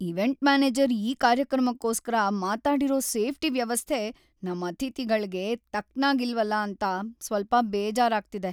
Event manager ಈ ಕಾರ್ಯಕ್ರಮಕ್ಕೋಸ್ಕರ ಮಾತಾಡಿರೋ ಸೇಫ್ಟಿ ವ್ಯವಸ್ಥೆ ನಮ್ ಅತಿಥಿಗಳ್ಗೆ ತಕ್ಕನಾಗಿಲ್ವಲ ಅಂತ ಸ್ವಲ್ಪ ಬೇಜಾರಾಗ್ತಿದೆ.